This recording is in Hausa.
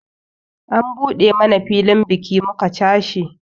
An buɗe mana filin biki muka cashe